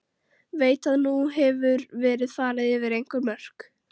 Veit að nú hefur verið farið yfir einhver mörk.